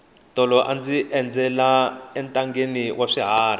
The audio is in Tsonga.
tolo a ndzi endzela entangheni wa swiharhi